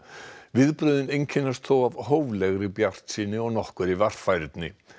viðbrögðin einkennast þó af hóflegri bjartsýni og nokkurri varfærni